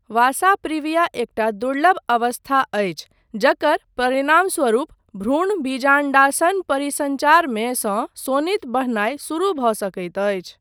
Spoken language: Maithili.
वासा प्रिविया एकटा दुर्लभ अवस्था अछि जकर परिणामस्वरूप भ्रूण बीजाण्डासन परिसञ्चारमे सँ सोनित बहनाय शुरु भऽ सकैत अछि।